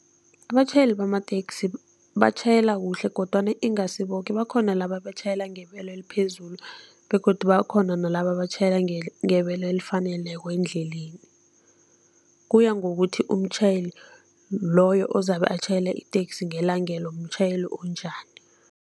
Abatjhayeli bamateksi batjhayela kuhle kodwana ingasi boke, bakhona laba abatjhayela ngebelo eliphezulu begodu bakhona nalaba abatjhayela ngebelo elifaneleko endleleni, kuya ngokuthi umtjhayeli loyo ozabe atjhayela iteksi ngelangelo mtjhayeli onjani.